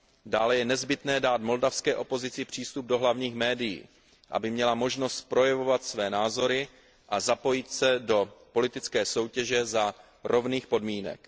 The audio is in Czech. Dále je nezbytné dát moldavské opozici přístup do hlavních médií, aby měla možnost projevovat své názory a zapojit se do politické soutěže za rovných podmínek.